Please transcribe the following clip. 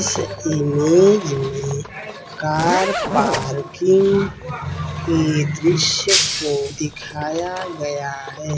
इस इमेज में car parking के दृश्य को दिखाया गया है।